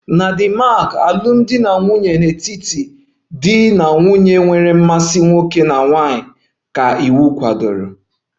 Na Denmark alụmdi na nwunye n'etiti di na nwunye nwere mmasị nwoke na nwanyị ka iwu kwadoro